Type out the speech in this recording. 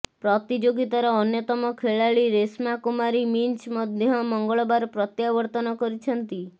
ପ୍ରତିଯୋଗିତାର ଅନ୍ୟତମ ଖେଳାଳି ରେଶ୍ମା କୁମାରୀ ମିଞ୍ଜ୍ ମଧ୍ୟ ମଙ୍ଗଳବାର ପ୍ରତ୍ୟାବର୍ତ୍ତନ କରିଛନ୍ତି